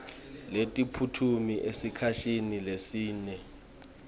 netiphumuti esikhatsini lesinyenti